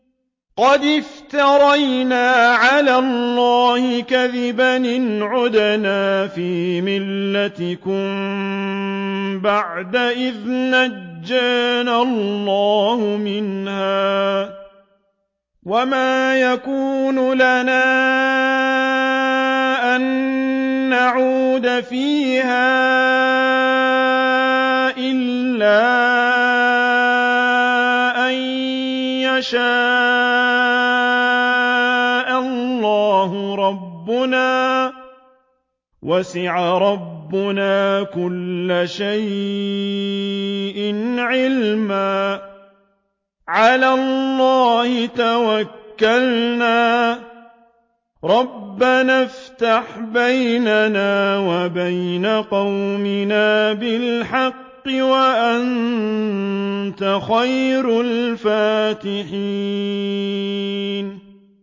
قَدِ افْتَرَيْنَا عَلَى اللَّهِ كَذِبًا إِنْ عُدْنَا فِي مِلَّتِكُم بَعْدَ إِذْ نَجَّانَا اللَّهُ مِنْهَا ۚ وَمَا يَكُونُ لَنَا أَن نَّعُودَ فِيهَا إِلَّا أَن يَشَاءَ اللَّهُ رَبُّنَا ۚ وَسِعَ رَبُّنَا كُلَّ شَيْءٍ عِلْمًا ۚ عَلَى اللَّهِ تَوَكَّلْنَا ۚ رَبَّنَا افْتَحْ بَيْنَنَا وَبَيْنَ قَوْمِنَا بِالْحَقِّ وَأَنتَ خَيْرُ الْفَاتِحِينَ